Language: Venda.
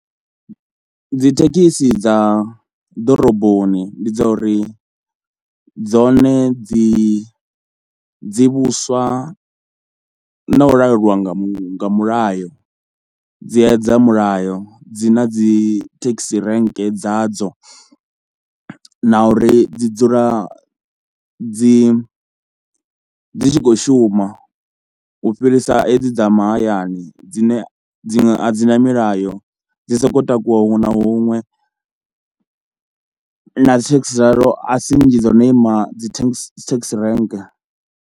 Dzithekhisi dza ḓoroboni ndi dza uri dzone dzi dzi vhuswa na u laulwa nga mu mulayo, dzi edza mulayo, dzi na dzi thekhisi renke dzadzo na uri dzi dzula dzi dzi tshi khou shuma u fhirisa hedzi dza mahayani dzine dziṅwe a dzi na milayo, dzi sokou takuwa huṅwe na huṅwe na dzi thekhisi dzavho a si nnzhi dzo no ima dzi thengi thekisi renke.